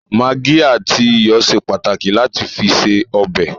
Magí àti iyọ̀ ṣe pàtàkì lati fi ṣe ọbẹ̀